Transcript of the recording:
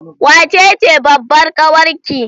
Wace ce babbar kawar ki?